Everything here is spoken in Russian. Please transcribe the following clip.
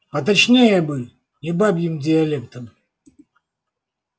поточнее бы не бабьим диалектом